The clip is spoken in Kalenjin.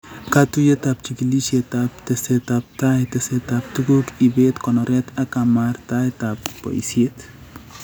Katuiyetap chigilisyet ak tesetap tai, tesetap tuguuk, ibeet, konoret ak kamartaet ak boisyet